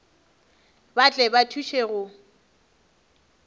ba tle ba thuše go